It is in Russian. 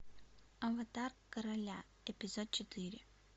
аватар короля эпизод четыре